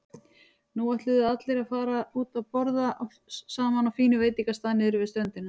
Nú ætluðu allir að fara út að borða saman á fínum veitingastað niðri við ströndina.